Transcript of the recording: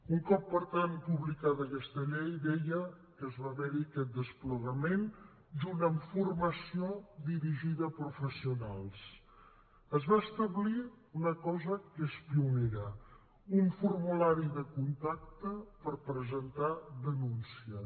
un cop per tant publicada aquesta llei deia que va haver hi aquest desplegament junt amb formació dirigida a professionals es va establir una cosa que és pionera un formulari de contacte per presentar denúncies